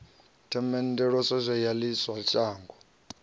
themendelwaho ya ḽi ṅwe shango